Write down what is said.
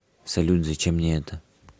салют зачем мне это